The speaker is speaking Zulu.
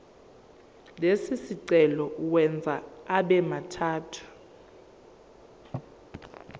lesicelo uwenze abemathathu